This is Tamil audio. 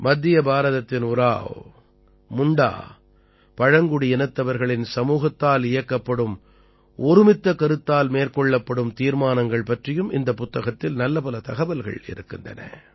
மத்திய பாரதத்தின் உராவ் முண்டா பழங்குடியினத்தவர்களின் சமூகத்தால் இயக்கப்படும் ஒருமித்த கருத்தால் மேற்கொள்ளப்படும் தீர்மானங்கள் பற்றியும் இந்தப் புத்தகத்தில் நல்லபல தகவல்கள் இருக்கின்றன